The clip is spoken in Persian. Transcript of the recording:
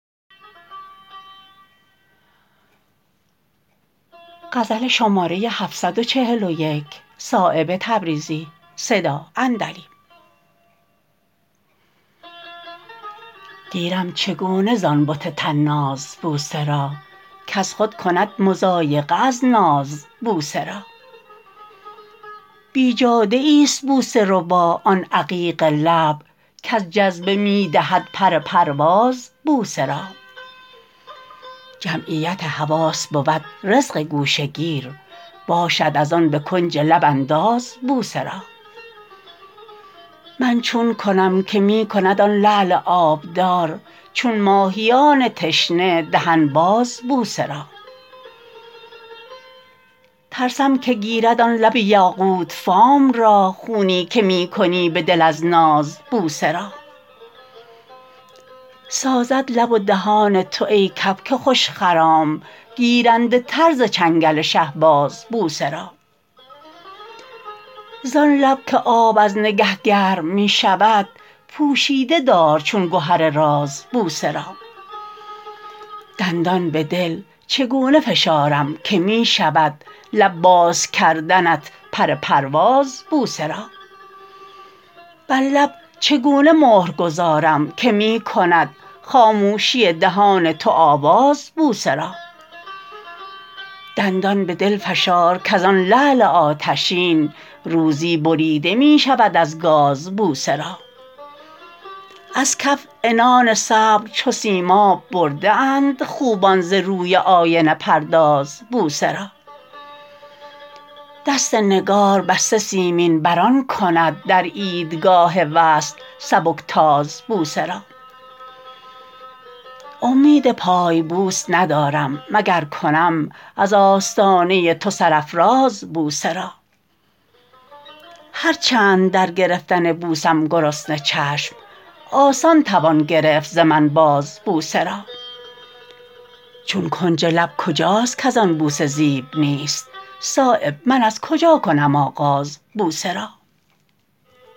گیرم چگونه زان بت طناز بوسه را کز خود کند مضایقه از ناز بوسه را بیجاده ای است بوسه ربا آن عقیق لب کز جذبه می دهد پر پرواز بوسه را جمعیت حواس بود رزق گوشه گیر باشد ازان به کنج لب انداز بوسه را من چون کنم که می کند آن لعل آبدار چون ماهیان تشنه دهن باز بوسه را ترسم که گیرد آن لب یاقوت فام را خونی که می کنی به دل از ناز بوسه را سازد لب و دهان تو ای کبک خوش خرام گیرنده تر ز چنگل شهباز بوسه را زان لب که آب از نگه گرم می شود پوشیده دار چون گهر راز بوسه را دندان به دل چگونه فشارم که می شود لب بازکردنت پر پرواز بوسه را بر لب چگونه مهر گذارم که می کند خاموشی دهان تو آواز بوسه را دندان به دل فشار کزان لعل آتشین روزی بریده می شود از گاز بوسه را از کف عنان صبر چو سیماب برده اند خوبان ز روی آینه پرداز بوسه را دست نگاربسته سیمین بران کند در عیدگاه وصل سبکتاز بوسه را امید پای بوس ندارم مگر کنم از آستانه تو سرافراز بوسه را هر چند در گرفتن بوسم گرسنه چشم آسان توان گرفت ز من باز بوسه را چون کنج لب کجاست کز از بوسه زیب نیست صایب من از کجا کنم آغاز بوسه را